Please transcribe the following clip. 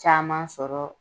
Caman sɔrɔ